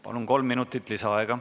Palun, kolm minutit lisaaega!